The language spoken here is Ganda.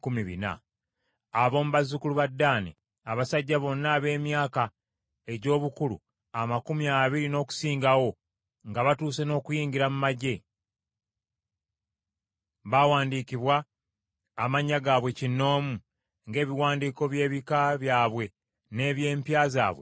Ab’omu bazzukulu ba Ddaani: Abasajja bonna ab’emyaka egy’obukulu amakumi abiri n’okusingawo nga batuuse n’okuyingira mu magye, baawandiikibwa amannya gaabwe kinnoomu, ng’ebiwandiiko by’ebika byabwe n’eby’empya zaabwe bwe byali.